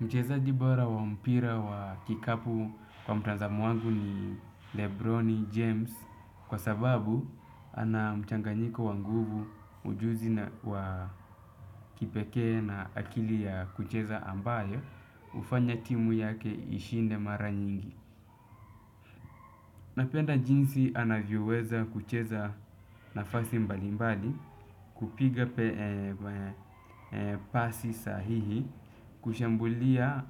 Mchezaji bora wa mpira wa kikapu kwa mtazamo wangu ni Lebroni James, kwa sababu ana mchanganyiko wanguvu, ujuzi wa kipeke na akili ya kucheza ambayo hufanya timu yake ishinde mara nyingi. Napenda jinsi anavyoweza kucheza nafasi mbalimbali, kupiga pasi sahihi, kushambulia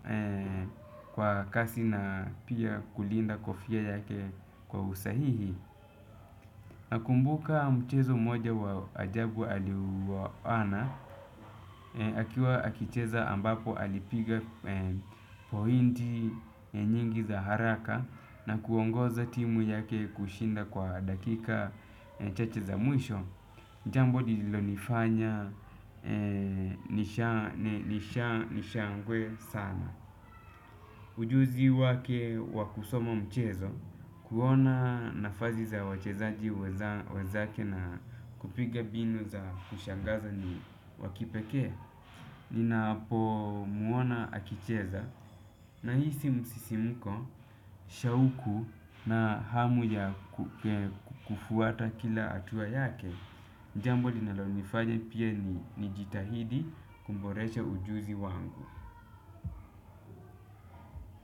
kwa kasi na pia kulinda kofia yake kwa usahihi. Nakumbuka mchezo mmoja wa ajabu aliyouana, akiwa akicheza ambapo alipiga pointi nyingi za haraka na kuongoza timu yake kushinda kwa dakika chache za mwisho. Jambo lililonifanya nishangae sana. Ujuzi wake wa kusoma mchezo, kuona nafasi za wachezaji wanzake na kupiga mbinu za kushangaza ni wa kipekee. Ninapomuona akicheza nahisi msisimuko, shauku na hamu ya kufuata kila hatuwa yake. Jambo linalonifanya pia nijitahidi kuboresha ujuzi wangu.